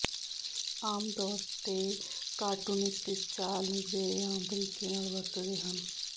ਆਮ ਤੌਰ ਤੇ ਕਾਰਟੂਨਿਸਟ ਇਸ ਚਾਲ ਨੂੰ ਵਧੇਰੇ ਆਮ ਤਰੀਕੇ ਨਾਲ ਵਰਤਦੇ ਹਨ